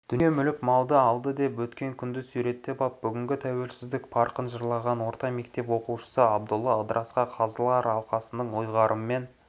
дүние мүлік малды алды деп өткен күнді суреттеп ап бүгінгі тәуелсіздік парқын жырлаған орта мектептің оқушысы абдолла ыдырысқа қазылар алқасының ұйғарымымен